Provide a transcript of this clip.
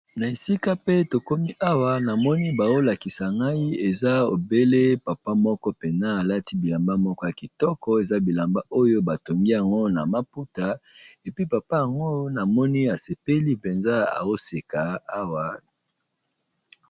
Na esika pe to komi awa na moni bazo lakisa ngai eza obele papa moko pe a alati bilamba moko ya kitoko eza bilamba oyo ba tongi yango na maputa et puis papa yango na moni a sepeli penza azo seka awa .